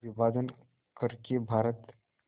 का विभाजन कर के भारत